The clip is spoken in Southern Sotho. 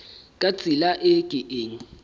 ka tsela e ke keng